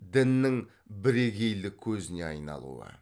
діннің бірегейлік көзіне айналуы